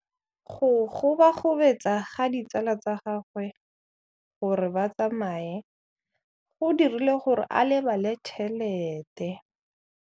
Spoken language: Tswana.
Go gobagobetsa ga ditsala tsa gagwe, gore ba tsamaye go dirile gore a lebale tšhelete.